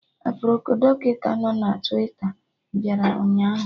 Aproko Dọkịta nọ na Twita bịara ụnyaahụ